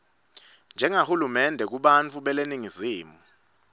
njengahulumende kubantfu beleningizimu